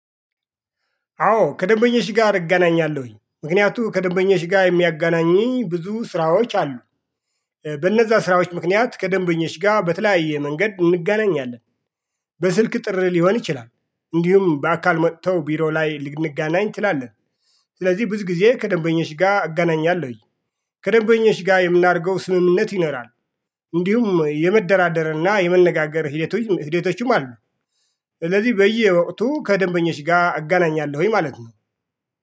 አዎ ከደንበኞች ጋር እገናኛለሁኝ ምክንያቱም ከደንበኞችጋር የሚያጋናኘኝ ብዙ ስራዎች አሉ። በእነዛ ስራዎች ምክንያት ከደንበኞች ጋር በተለያየ መንገድ እንጋናኛለን። በስልክ ጥሪ ሊሆን ይችላል እንዲሁም በአካል መጥተው ቢሮ ላይ ልንገናኝ ትላለህ። ስለዚህ ብዙ ጊዜ ከደንበኞች ጋር አገናኛለሁኝ። ከደንበኞች ጋር የምናደርገው ስምምነት ይኖራል። እንዲሁም የመደራደርና የመነጋገር ሂደቶችም አሉ። ስለዚህ በየወቅቱ ከደንበኞች ጋር እገናኛለሁኝ ማለት ነው